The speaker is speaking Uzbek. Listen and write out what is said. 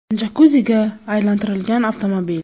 jakuziga aylantirilgan avtomobil.